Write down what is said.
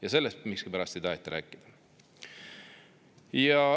Ja sellest miskipärast ei taheta rääkida.